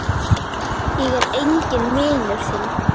Ég er enginn vinur þinn!